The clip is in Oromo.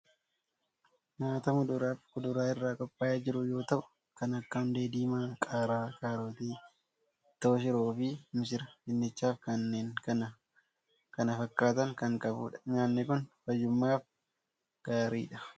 Nyaata muduraa fi kuduraa irraa qophaa'ee jiru yoo ta'u, kan akka hundee diimaa, qaaraa, kaarotii, ittoo shiroo fi missiraa, dinnichaa fi kanneen kan kana fakkaatan kan qabudha. Nyaatni kun fayyummaaf gaariidha.